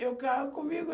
Eu quero comigo.